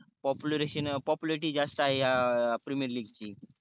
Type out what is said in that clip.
population popularity जास्त आहे हया premier league ची